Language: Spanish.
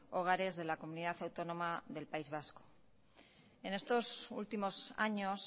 hogares de la comunidad autónoma del país vasco en estos últimos años